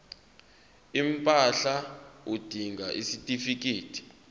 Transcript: impahla udinga isitifikedi